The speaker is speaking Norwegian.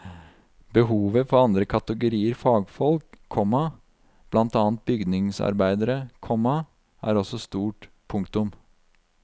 Behovet for andre kategorier fagfolk, komma blant annet bygningsarbeidere, komma er også stort. punktum